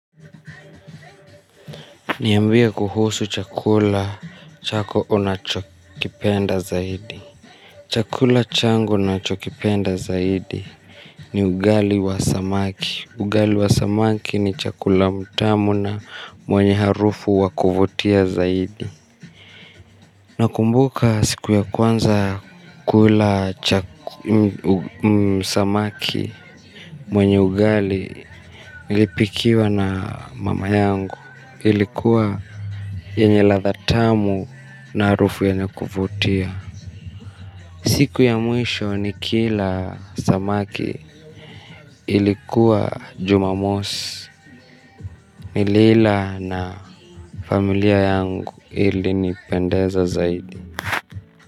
Niambie kuhusu chakula chako unachokipenda zaidi. Chakula changu ninachokipenda zaidi ni ugali wa samaki ugali wa samaki ni chakula mtamu na mwenye harufu wakuvutia zaidi. Nakumbuka siku ya kwanza kula samaki mwenye ugali nilipikiwa na mama yangu. Ilikuwa yenye ladha tamu na harufu yenye kuvutia siku ya mwisho ni kila samaki ilikuwa jumamosi nili ila na familia yangu, ilinipendeza zaidi.